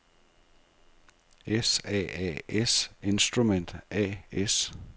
S.A.A.S.Instrument A/S